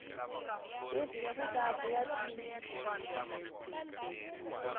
livhi ya vuvabyi wa tin